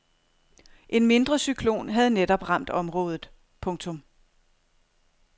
En mindre cyklon havde netop ramt området. punktum